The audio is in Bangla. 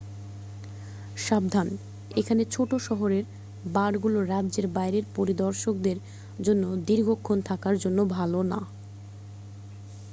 সাবধান এখানে ছোট শহরের বারগুলো রাজ্যের বাইরের পরিদর্শকদের জন্য দীর্ঘক্ষণ থাকার জন্য ভালো না